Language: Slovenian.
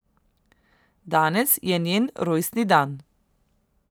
Danes je njen rojstni dan.